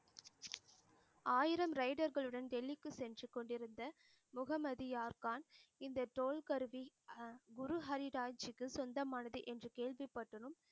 ஆயிரம் ரைடர்களுடன் டெல்லிக்கு சென்று கொண்டிருந்த முகமதியார்கான் இந்த தோல் கருவி அஹ் குரு ஹரிராய்ஜிக்கு சொந்தமானது என்று கேள்விப்பட்டதும்